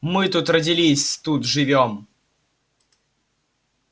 мы тут родились тут живём